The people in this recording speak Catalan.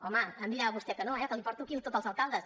home no em dirà vostè que no eh que li porto aquí tots els alcaldes